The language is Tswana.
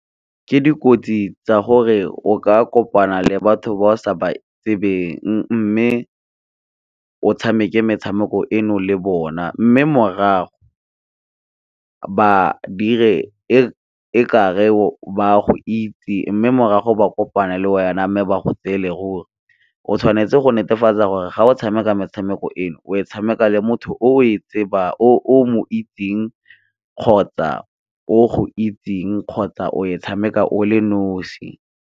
Ke dikotsi tsa gore o ka kopana le batho ba sa ba tsebeng, mme o tshameke metshameko eno le bona. Mme morago ba dire e ka re ba go itse, mme morago ba kopana le Wena mme ba go tseele ruri. O tshwanetse go netefatsa gore ga o tshameka metshameko eno o e tshameka le motho o mo itseng kgotsa o go itseng kgotsa o e tshameka o le nosi.